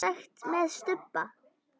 Semsagt með stubba.